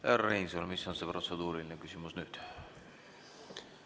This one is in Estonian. Härra Reinsalu, mis on see protseduuriline küsimus nüüd?